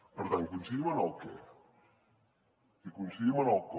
per tant coincidim en el què i coincidim en el com